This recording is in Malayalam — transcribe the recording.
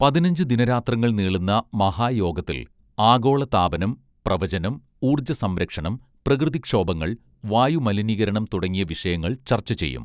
പതിനഞ്ചു ദിനരാത്രങ്ങൾ നീളുന്ന മഹായോഗത്തിൽ ആഗോള താപനം പ്രവചനം ഊർജ്ജ സംരക്ഷണം പ്രകൃതിക്ഷോഭങ്ങൾ വായുമലിനീകരണം തുടങ്ങിയ വിഷയങ്ങൾ ചർച്ചചെയ്യും